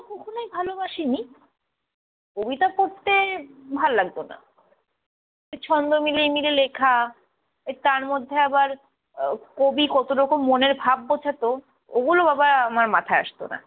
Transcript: কখনোই ভালোবাসিনি কবিতা পড়তে ভাল্লাগতো না, ছন্দ মিলিয়ে মিলিয়ে লেখা, তার মধ্যে আবার আহ কবি কতটুকু মনের ভাব বুঝাতো, ওগুলো বাবা আমার মাথায় আসতো না।